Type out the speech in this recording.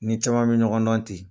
N ni caman bɛ ɲɔgɔn dɔn ten.